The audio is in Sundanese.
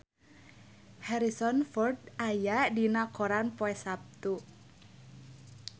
Harrison Ford aya dina koran poe Saptu